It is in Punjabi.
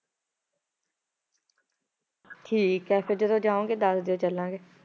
ਠੀਕ ਹੈ ਫਿਰ ਜਦੋਂ ਜਾਓਗੇ ਦੱਸ ਦਿਓ ਚੱਲਾਂਗੇ।